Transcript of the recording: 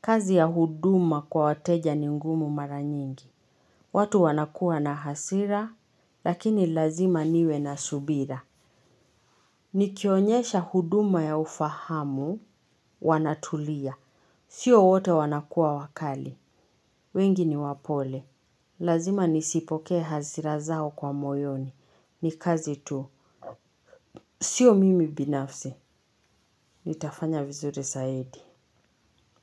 Kazi ya huduma kwa wateja ni ngumu maranyingi. Watu wanakuwa na hasira lakini lazma niwe na hasira. Nikionyesha huduma ya ufahamu, wanatulia sio wote wanakuwa wakali wengi ni wapole lazima nisipokee hasira zao kwa moyoni ni kazi tu. Sio mimi binafsi, nitafanya vizuri saidi.